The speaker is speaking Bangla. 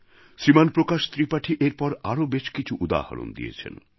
শ্রীমান প্রকাশ ত্রিপাঠী এরপর আরও বেশকিছু উদাহরণ দিয়েছেন